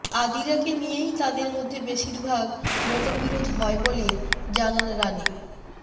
আদিরাকে নিয়েই তাঁদের মধ্যে বেশিরভাগ মতবিরোধ হয় বলে জানান রানি